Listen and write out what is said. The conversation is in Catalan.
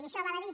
i això val a dir